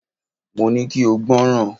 Mo ní kí o gbọ́ràn!